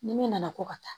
Ni min nana ko ka taa